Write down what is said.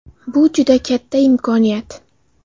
Bu juda katta imkoniyat.